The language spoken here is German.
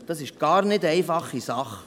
Das ist gar keine einfache Sache.